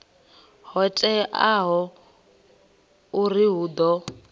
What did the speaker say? ho teaho uri hu ḓo